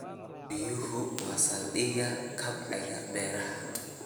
Biyuhu waa saldhigga kobaca beeraha.